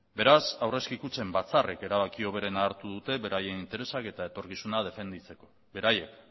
beraz aurrezki kutxen batzarrek erabaki hoberena hartu dute beraien interesak eta etorkizuna defendatzeko beraiek